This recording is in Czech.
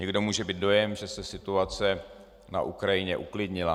Někdo může mít dojem, že se situace na Ukrajině uklidnila.